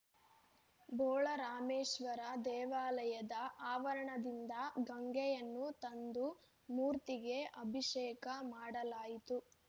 ಬೋಳರಾಮೇಶ್ವರ ದೇವಾಲಯದ ಆವರಣದಿಂದ ಗಂಗೆಯನ್ನು ತಂದು ಮೂರ್ತಿಗೆ ಅಭಿಷೇಕ ಮಾಡಲಾಯಿತು